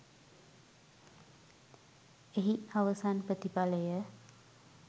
එහි අවසන් ප්‍රතිඵලය